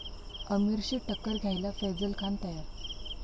आमिरशी टक्कर घ्यायला फैझल खान तयार